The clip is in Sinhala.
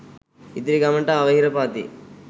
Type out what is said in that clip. ඉදිරි ගමනට අවහිර පවතී.